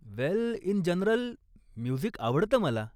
Well, in general, music आवडतं मला.